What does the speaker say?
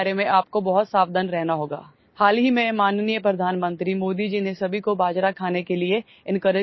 Recently, Honorable Prime Minister Modi ji has encouraged everyone to eat pearl millet